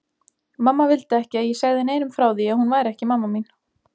Mamma vildi ekki að ég segði neinum frá því að hún væri ekki mamma mín.